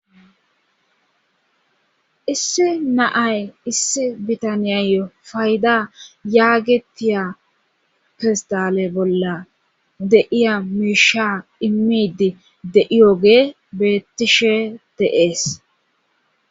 Issi naay issi bitaniyayo fayda yaagetiya fistale bolla deiya miisha immidi deiyoge beettishe deees.